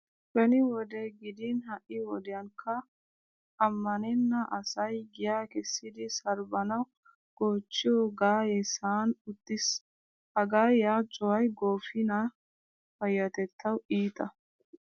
Beni wode gidin ha"i wodiyankka ammanenna asay giyaa kessidi sarbbanawu goochchiyo gaayee sa'an uttiis. Ha gaayiya cuway goofiniya payyatettawu iita.